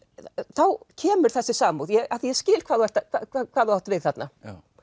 þá kemur þessi samúð af því ég skil hvað þú hvað þú átt við þarna